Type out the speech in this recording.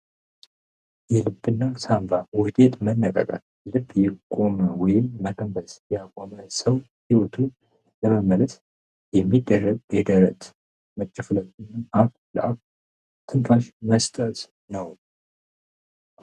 የልብ እና የሳንባ ስር መነቃቀል ልብ ያቆመ ወይም መተንፈስ ያቆመ ሰው ህይወቱን ለመመለስ የሚደረግ የደረት መጨፍለቅ እና ትንፋሽ መስጠት ነው።